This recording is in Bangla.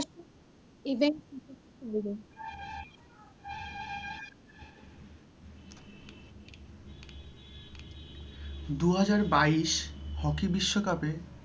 দু হাজার বাইশ hockey বিশ্বকাপে,